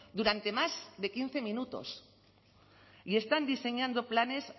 durante más de quince minutos y están diseñando planes